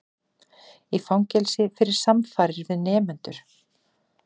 Í fangelsi fyrir samfarir við nemendur